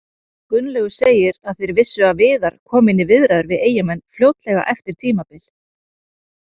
Gunnlaugur segir að þeir vissu að Viðar kominn í viðræður við Eyjamenn fljótlega eftir tímabil.